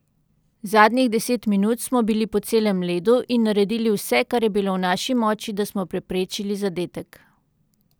Zadnjih deset minut smo bili po celem ledu in naredili vse, kar je bilo v naši moči, da smo preprečili zadetek.